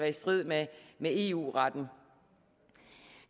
i strid med eu retten